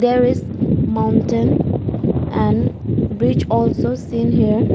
There is mountain and bridge also seen here.